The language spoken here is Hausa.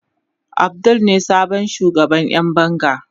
Abdul ne sabon shugaban Yan banga.